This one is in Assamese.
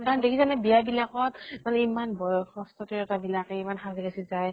কাৰণ দেখিছা নে বিয়া বিলাকত, চবেই এমান বয়সস্ত বিলাকে ইমান সাজি কাচি যায়